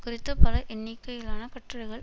குறித்து பல எண்ணிக்கைகளான கட்டுரைகள்